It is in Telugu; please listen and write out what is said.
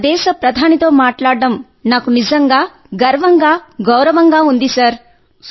మన దేశ ప్రధానితో మాట్లాడటం నాకు నిజంగా గర్వంగా గౌరవంగా ఉంది సార్